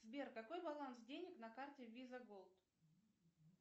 сбер какой баланс денег на карте виза голд